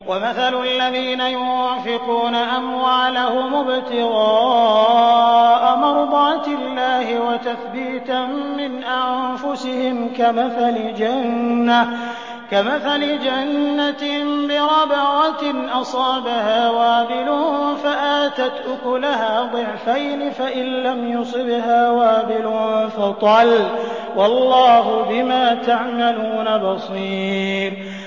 وَمَثَلُ الَّذِينَ يُنفِقُونَ أَمْوَالَهُمُ ابْتِغَاءَ مَرْضَاتِ اللَّهِ وَتَثْبِيتًا مِّنْ أَنفُسِهِمْ كَمَثَلِ جَنَّةٍ بِرَبْوَةٍ أَصَابَهَا وَابِلٌ فَآتَتْ أُكُلَهَا ضِعْفَيْنِ فَإِن لَّمْ يُصِبْهَا وَابِلٌ فَطَلٌّ ۗ وَاللَّهُ بِمَا تَعْمَلُونَ بَصِيرٌ